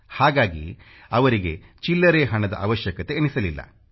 ಹಾಗಾಗಿ ಅವರಿಗೆ ಚಿಲ್ಲರೆ ಹಣದ ಅವಶ್ಯಕತೆಯೆನಿಸಲಿಲ್ಲ